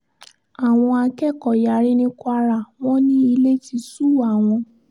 àwọn akẹ́kọ̀ọ́ yarí ní kwara wọn ní ilé ti sú àwọn